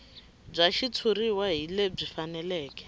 bya xitshuriwa hi lebyi faneleke